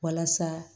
Walasa